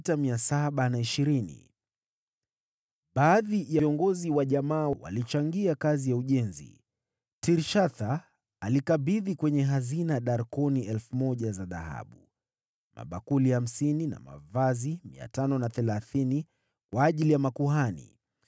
Baadhi ya viongozi wa jamaa walichangia kazi ya ujenzi. Mtawala alikabidhi kwenye hazina darkoni 1,000 za dhahabu, mabakuli 50, na mavazi 530 kwa ajili ya makuhani.